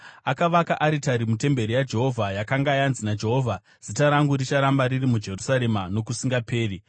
Akavaka aritari mutemberi yaJehovha yakanga yanzi naJehovha, “Zita rangu richaramba riri muJerusarema nokusingaperi.”